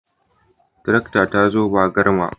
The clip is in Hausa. Tarakta ta zo ba garma